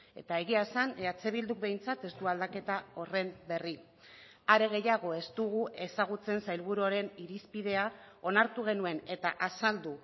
eta egia esan eh bilduk behintzat ez du aldaketa horren berri are gehiago ez dugu ezagutzen sailburuaren irizpidea onartu genuen eta azaldu